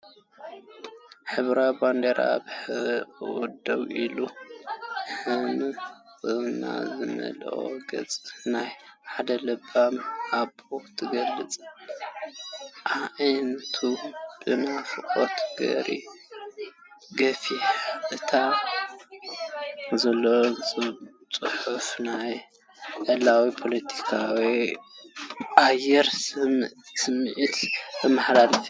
ሕብራዊት ባንዴራ ኣብ ሕቖኣ ደው ኢላ፡ ቅንዕና ዝመልኦ ገጽ ናይ ሓደ ለባም ኣቦ ትገልጽ፡ ኣዒንቱ ብናፍቖት ገፊሓ። ኣብ ታሕቲ ዘሎ ጽሑፍ ናይ ዕላልን ፖለቲካዊ ኣየርን ስምዒት ዘመሓላልፍ እዩ።